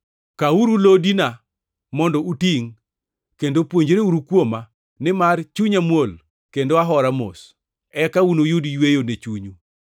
Kawuru lodina mondo utingʼ kendo puonjreuru kuoma, nimar chunya muol kendo ahora mos, eka unuyud yweyo ne chunyu.